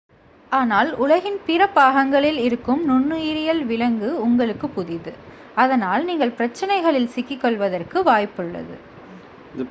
ஆனால் உலகின் பிற பாகங்களில் இருக்கும் நுண்ணுயிரியியல் விலங்கு உங்களுக்கு புதிது அதனால் நீங்கள் பிரச்சினைகளில் சிக்கிக் கொள்வதற்கு வாய்ப்புள்ளது